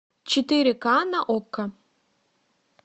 четыре ка на окко